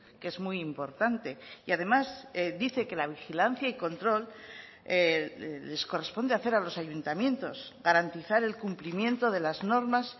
que es muy importante y además dice que la vigilancia y control les corresponde hacer a los ayuntamientos garantizar el cumplimiento de las normas